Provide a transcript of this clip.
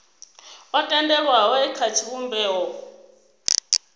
o tendelwaho e kha tshivhumbeo